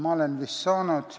Ma olen nii aru saanud.